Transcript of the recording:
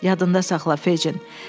Yadında saxla, Feycin!